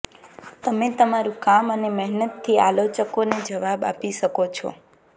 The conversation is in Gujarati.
તમે તમારુ કામ અને મહેનતથી આલોચકોને જવાબ આપી શકો છો